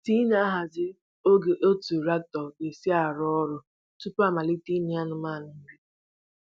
T na-ahazi oge otu raktọ ga-esi rụọ ọrụ tupu a malite inye anụmanụ nri.